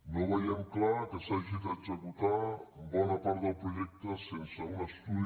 no veiem clar que s’hagi d’exe·cutar bona part del projecte sense un estudi